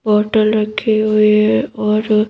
bottle रखी हुई और--